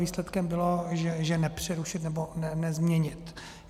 Výsledkem bylo, že nepřerušit nebo nezměnit.